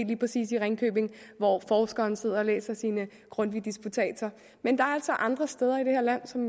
lige præcis i ringkøbing hvor forskeren sidder og læser sine grundtvigdisputatser men der er altså andre steder i det her land som